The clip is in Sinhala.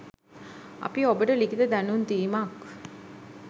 අපි ඔබට ලිඛිත දැනුම් දීමක්